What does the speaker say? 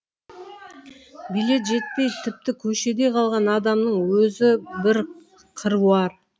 билет жетпей тіпті көшеде қалған адамның өзі бір қыруар